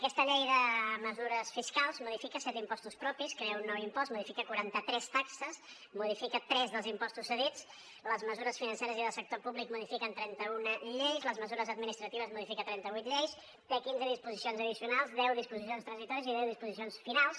aquesta la llei de mesures fiscals modifica set impostos propis crea un nou impost modifica quaranta tres taxes modifica tres dels impostos cedits les mesures financeres i del sector públic modifiquen trenta una lleis les mesures administratives modifiquen trenta vuit lleis té quinze disposicions addicionals deu disposicions transitòries i deu disposicions finals